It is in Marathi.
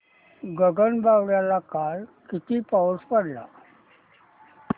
गगनबावड्याला काल किती पाऊस पडला